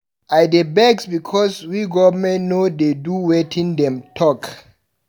I dey vex because we government no dey do wetin dem talk.